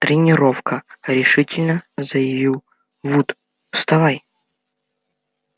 тренировка решительно заявил вуд вставай